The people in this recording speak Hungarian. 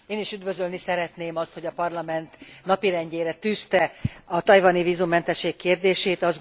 Én is üdvözölni szeretném azt, hogy a Parlament napirendjére tűzte a tajvani vízummentesség kérdését.